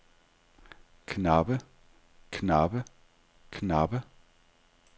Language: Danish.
knappe knappe knappe